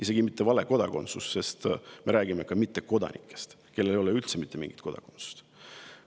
Isegi mitte vale kodakondsus, sest me räägime ka mittekodanikest, kellel ei ole üldse mitte mingit kodakondsust.